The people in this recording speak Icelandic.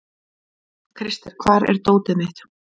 Krister, hvar er dótið mitt?